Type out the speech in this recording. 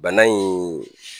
Bana in